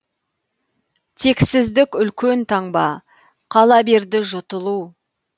тексіздік үлкен таңба қала берді жұтылу